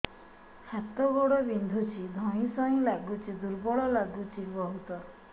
ହାତ ଗୋଡ ବିନ୍ଧୁଛି ଧଇଁସଇଁ ଲାଗୁଚି ଦୁର୍ବଳ ଲାଗୁଚି ବହୁତ